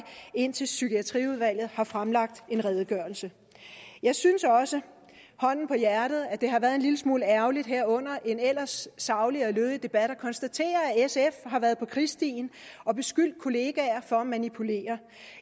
indtil psykiatriudvalget har fremlagt en redegørelse jeg synes også hånden på hjertet at det har været en lille smule ærgerligt her under en ellers saglig og lødig debat at konstatere at sf har været på krigsstien og beskyldt kollegaer for at manipulere